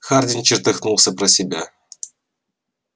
хардин чертыхнулся про себя